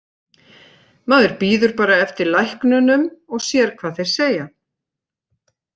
Maður bíður bara eftir læknunum og sér hvað þeir segja.